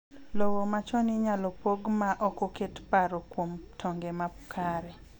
lowo machon inyalo pog ma oko ket paro kuom tonge makare